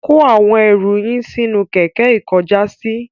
Kó àwọn ẹrú yín sínú kẹkẹ ikọjàsí